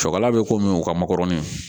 Cɛkala bɛ ko min u ka makɔrɔni